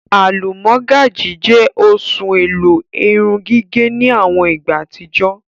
Alúmọ̀gájì jẹ́ oṣùn ẹ̀lò èrùn-gígẹ̀ ni awọn ìgbà atijọ.